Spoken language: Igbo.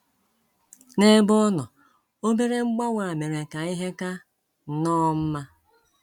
N’ebe ọ nọ, obere mgbanwe a mere ka ihe ka nnọọ mma.